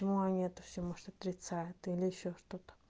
ну они это всё может отрицают или ещё что-то